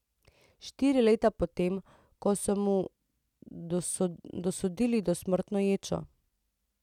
Štiri leta po tem, ko so mu dosodili dosmrtno ječo.